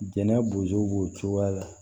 Jɛnɛ bozo b'o cogoya la